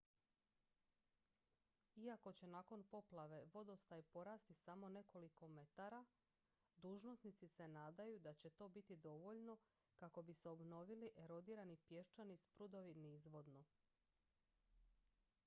iako će nakon poplave vodostaj porasti samo nekoliko metara dužnosnici se nadaju da će to biti dovoljno kako bi se obnovili erodirani pješčani sprudovi nizvodno